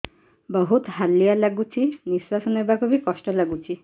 ବହୁତ୍ ହାଲିଆ ଲାଗୁଚି ନିଃଶ୍ବାସ ନେବାକୁ ଵି କଷ୍ଟ ଲାଗୁଚି